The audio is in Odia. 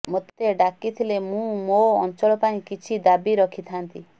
ମୋତେ ଡାକିଥିଲେ ମୁଁ ମୋ ଅଞ୍ଚଳ ପାଇଁ କିଛି ଦାବି ରଖିଥାନ୍ତି